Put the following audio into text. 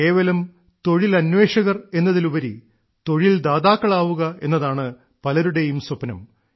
കേവലം തൊഴിലന്വേഷകർ എന്നതിലുപരി തൊഴിൽ ദാതാക്കളാവുക എന്നതാണ് പലരുടെയും സ്വപ്നം